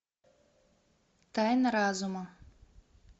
тайна разума